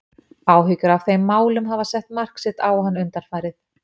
Áhyggjur af þeim málum hafa sett mark sitt á hann undanfarið.